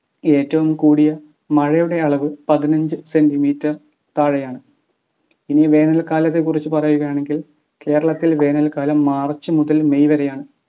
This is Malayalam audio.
ഏറ്റവും കൂടിയ മഴയുടെ അളവ് പതിനഞ്ച് centimeter താഴെയാണ്. ഇനി വേനൽക്കാലത്തെ കുറിച് പറയുകയാണെങ്കിൽ കേരളത്തിൽ വേനൽക്കാലം March മുതൽ may വരേയാണ്